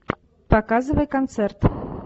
показывай концерт